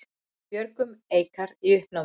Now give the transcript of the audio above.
Björgun Eikar í uppnámi